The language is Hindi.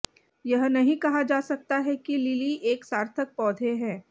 यह नहीं कहा जा सकता है कि लिली एक सार्थक पौधे है